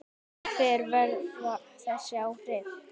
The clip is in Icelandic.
En hver verða þessi áhrif?